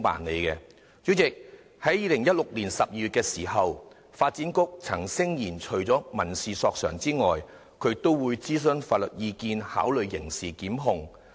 主席，發展局在2016年12月曾聲言，除民事索償外，也會諮詢法律意見，考慮提出刑事檢控。